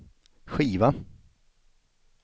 skiva